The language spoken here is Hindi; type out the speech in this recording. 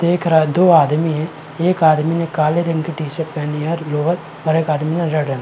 देख रहा दो आदमी है। एक आदमी ने काले रंग की टी-शर्ट पेहनी है और लोअर और एक आदमी ने रेड रंग की--